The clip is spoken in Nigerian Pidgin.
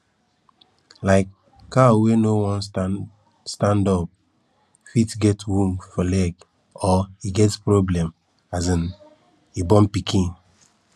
um cow wey no wan stand stand up fit get wound for leg or e get problem as um e born pikin